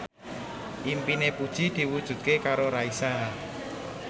impine Puji diwujudke karo Raisa